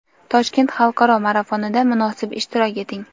Toshkent xalqaro marafonida munosib ishtirok eting!.